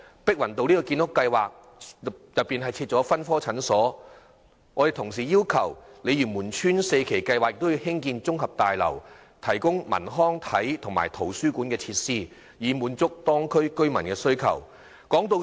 碧雲道建屋計劃已包括設立分科診所，我們同時要求鯉魚門邨第四期計劃納入綜合大樓，提供文娛、康樂、體育及圖書館等設施，以滿足當區居民的需求。